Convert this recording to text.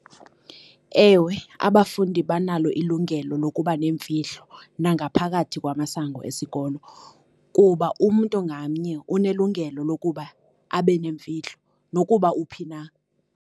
Ewe, abafundi banalo ilungelo lokuba neemfihlo nangaphakathi kwamasango esikolo, kuba umntu ngamnye unelungelo lokuba abe nemfihlo nokuba uphi na.